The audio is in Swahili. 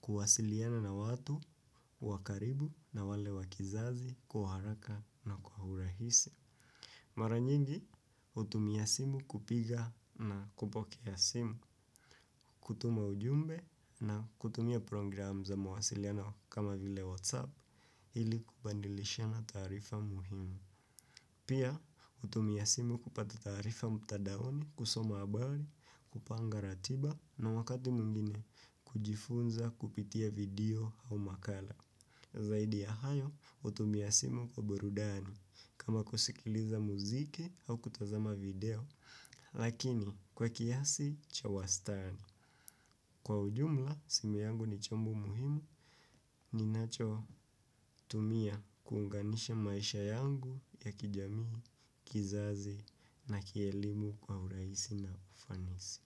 kuwasiliana na watu wa karibu na wale wakizazi kwa haraka na kwa urahisi. Mara nyingi hutumia simu kupiga na kupokea simu. Kutuma ujumbe na kutumia program za mawasiliano kama vile WhatsApp ili kubadilishana taarifa muhimu. Pia hutumia simu kupata taarifa mtandaoni kusoma habari kupanga ratiba na wakati mwingine kujifunza kupitia video au makala. Zaidi ya hayo hutumia simu kwa burudani kama kusikiliza muziki au kutazama video. Lakini kwa kiasi cha wastani kwa ujumla simu yangu ni chombu muhimu. Ninacho tumia kuunganisha maisha yangu ya kijamii kizazi na kielimu kwa urahisi na ufanisi.